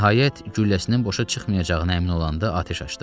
Nəhayət, gülləsinin boşa çıxmayacağına əmin olanda atəş açdı.